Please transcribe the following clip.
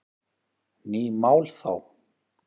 Ný mál þá?